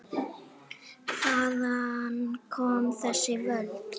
Hvaðan koma þessi völd?